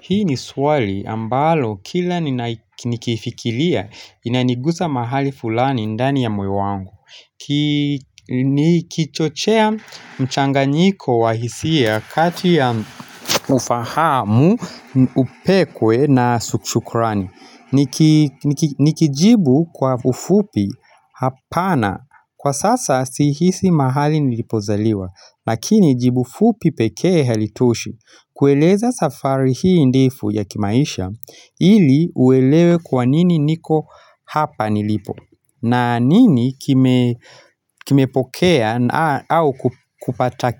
Hii ni swali ambalo kila nikifikilia inanigusa mahali fulani ndani ya moyo wangu Nikichochea mchanganyiko wa hisia kati ya ufahamu, upekwe na sushukurani Nikijibu kwa ufupi hapana kwa sasa sihisi mahali nilipozaliwa Lakini jibu fupi pekee halitoshi kueleza safari hii ndefu ya kimaisha ili uelewe kwa nini niko hapa nilipo na nini kime pokea au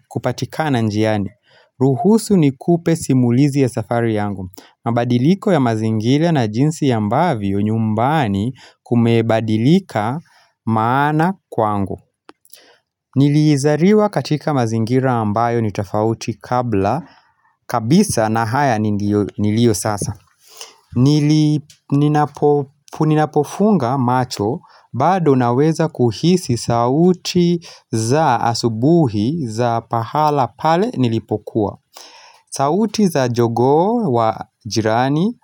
kupatikana njiani. Ruhusu nikupe simulizi ya safari yangu. Mabadiliko ya mazingilia na jinsi ya ambavio nyumbani kumebadilika maana kwangu. Nilizariwa katika mazingira ambayo nitofauti kabla kabisa na haya nilio sasa Ninapofunga macho bado naweza kuhisi sauti za asubuhi za pahala pale nilipokuwa sauti za jogoo wa jirani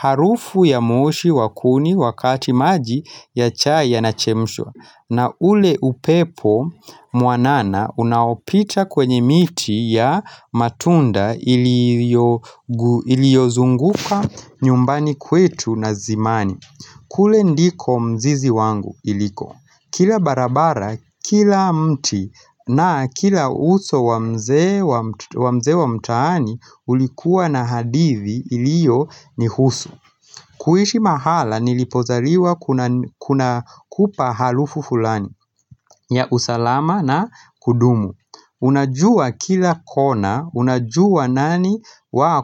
harufu ya moshi wakuni wakati maji ya chai yanachemshua na ule upepo muanana unaopita kwenye miti ya matunda iliozunguka nyumbani kwetu na zimani kule ndiko mzizi wangu iliko Kila barabara, kila mti na kila uso wa mzee wa mtaani ulikuwa na hadithi ilio nihusu kuishi mahala nilipozaliwa kuna kupa halufu fulani ya usalama na kudumu Unajua kila kona, unajua nani wa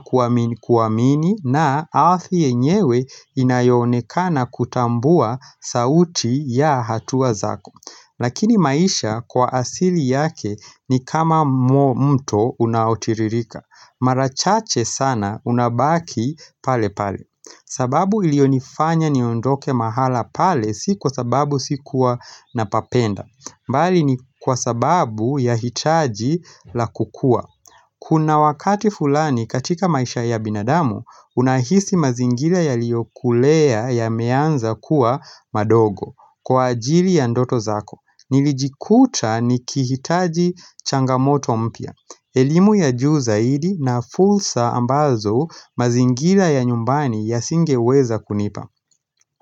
kuwamini na aldi yenyewe inayonekana kutambua sauti ya hatuwa zako. Lakini maisha kwa asili yake ni kama mto unaotiririka. Marachache sana unabaki pale pale. Sababu ilionifanya niondoke mahala pale si kwa sababu si kuwa napapenda. Mbali ni kwa sababu ya hitaji la kukua. Kuna wakati fulani katika maisha ya binadamu, unahisi mazingila yaliyokulea yameanza kuwa madogo kwa ajili ya ndoto zako. Nilijikuta nikihitaji changamoto mpia. Elimu ya juu zaidi na fulsa ambazo mazingila ya nyumbani ya singeweza kunipa.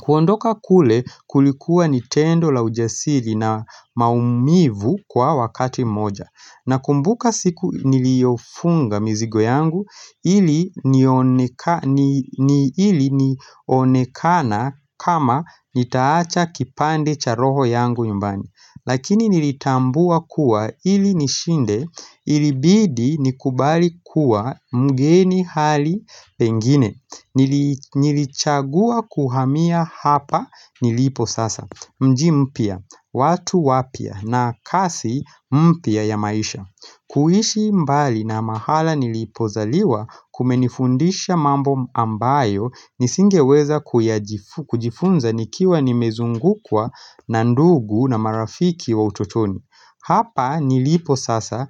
Kuondoka kule kulikuwa nitendo la ujasiri na maumivu kwa wakati moja na kumbuka siku niliofunga mizigo yangu ili nionekana kama nitaacha kipande cha roho yangu nyumbani. Lakini nilitambua kuwa ili nishinde ilibidi nikubali kuwa mgeni hali pengine Nilichagua kuhamia hapa nilipo sasa Mjimpia, watu wapia na kasi mpia ya maisha kuhishi mbali na mahala nilipozaliwa kumenifundisha mambo ambayo Nisingeweza kujifunza nikiwa nimezungukwa na ndugu na marafiki wa utotoni Hapa nilipo sasa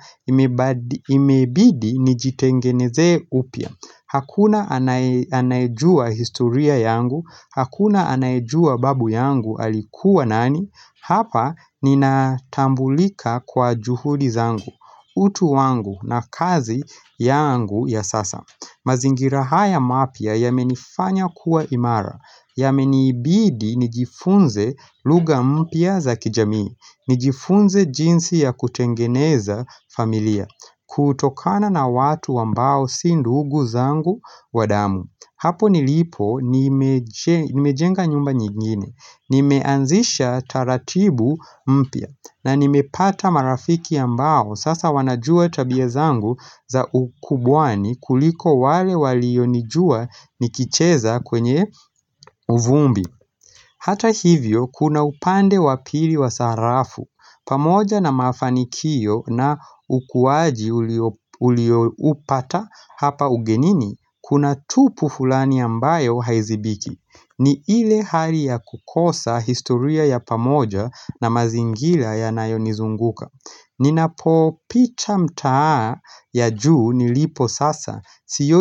imebidi nijitengeneze upia Hakuna anajua historia yangu Hakuna anajua babu yangu alikuwa nani Hapa nina tambulika kwa juhudi zangu utu wangu na kazi yangu ya sasa mazingira haya mapia yamenifanya kuwa imara Yamenibidi nijifunze luga mpia za kijamii nijifunze jinsi ya kutengeneza familia kutokana na watu ambao sindugu zangu wadamu Hapo nilipo nimejenga nyumba nyingine Nimeanzisha taratibu mpia na nimepata marafiki ambao Sasa wanajua tabia zangu za ukubwani kuliko wale walio nijua nikicheza kwenye uvumbi Hata hivyo kuna upande wapili wa sarafu pamoja na mafanikio na ukuwaji ulio upata hapa ugenini Kuna tupu fulani ambayo haizibiki ni ile hali ya kukosa historia ya pamoja na mazingila yanayonizunguka Ninapo pita mta ya juu nilipo sasa.